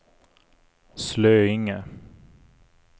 Slöinge